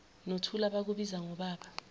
nothula bakubiza ngobaba